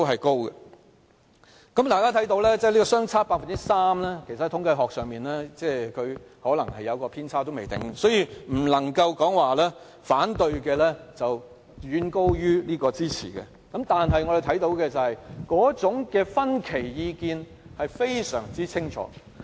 大家看到反對和支持的相差 3%， 其實在統計學上可能有偏差，所以不能說反對的遠高於支持的，但可以看到的是那種意見分歧是非常清楚的。